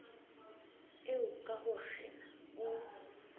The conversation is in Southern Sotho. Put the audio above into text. eo ka ho kgena o